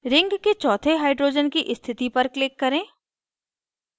ring के चौथे hydrogen की स्थिति पर click करें